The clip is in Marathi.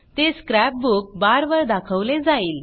ते स्क्रॅप बुक बारवर दाखवले जाईल